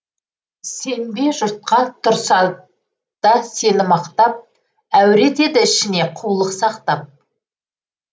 сенбе жұртқа тұрса да сені мақтап әуре етеді ішінде қулық сақтап